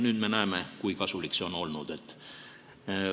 Nüüd me näeme, kui kasulik see olnud on.